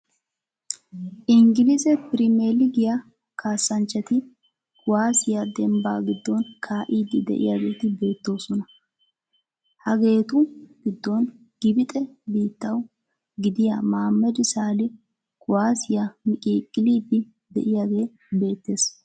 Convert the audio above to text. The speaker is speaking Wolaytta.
Inggilzze primiillegiya kaassanchchati kuwaasiya dembbaa giddon kaa'iiddi de'iyageeti bettoosona . Hageetu giddon Gibxe biittawa gidiya Maammed Saali kuwaassiya miqiiqqiliiddi de'iyagee beettees.